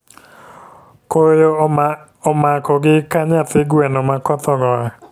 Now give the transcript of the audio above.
Koyo omako gi ka nyathi gweno ma koth ogoyo